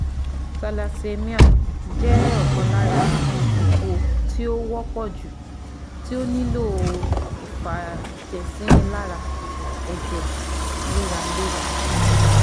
Thallassemia jẹ́ ọ̀kan lára ipò tí ó wọ́pọ̀ jù tí ó nílò ìfàjẹ̀sínilára ẹ̀jẹ̀ léraléra